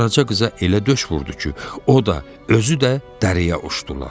Qaraca qıza elə döş vurdu ki, o da, özü də dərəyə uçdular.